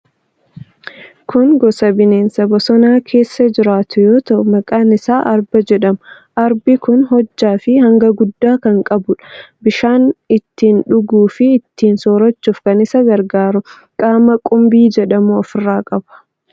Kun gosa bineensa bosona keessa jiraatu yoo ta'u, maqaan isaa Arba jedhama. Arbi kun hojjaa fi hanga guddaa kan qabuudha. Bishaan ittiin dhuguu fi ittiin soorachuuf kan isa gargaaru qaama qumbii jedhamu ofirraa qaba.